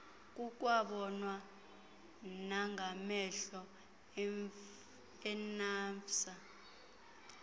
kukwabonwa nangamehlo inafvsa